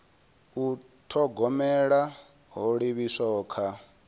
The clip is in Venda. u thogomela ho livhiswaho kha